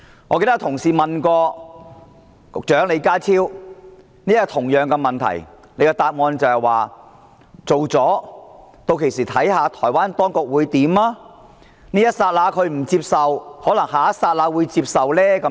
我記得有同事問過李家超局長同一項問題，他答說通過《條例草案》後，屆時要看看台灣當局會怎樣做，這一剎那不接受，可能下一剎那會接受。